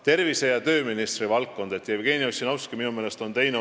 Tervise- ja tööministri valdkonnas on tehtud väga palju reforme, nende rakendamine 2018 on oluline.